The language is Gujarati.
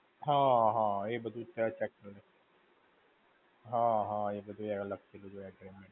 હા હા, એ બધું. હા હા એ બધું અલગ થી બધું.